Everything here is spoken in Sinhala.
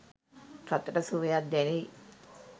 ගතට සුවයක් දැනෙ යි.